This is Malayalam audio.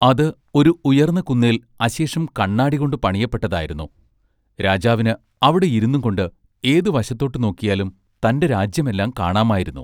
അത് ഒരു ഉയർന്ന കുന്നേൽ അശേഷം കാണ്ണാടി കൊണ്ട് പണിയപ്പെട്ടതായിരുന്നു രാജാവിന് അവിടെയിരുന്നുംകൊണ്ട് ഏതു വശത്തോട്ട് നോക്കിയാലും തന്റെ രാജ്യം എല്ലാം കാണാമായിരുന്നു.